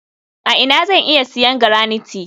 a ina zan iya siyan garanite?